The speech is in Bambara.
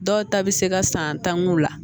Dɔw ta bɛ se ka san tan k'u la